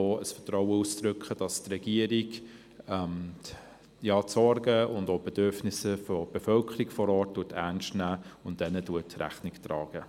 Wir drücken damit gegenüber der Regierung auch das Vertrauen aus, dass sie die Sorgen und auch die Bedürfnisse der Bevölkerung vor Ort ernst nimmt und ihnen Rechnung trägt.